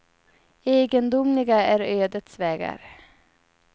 Egendomliga är ödets vägar.